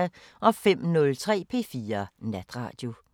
05:03: P4 Natradio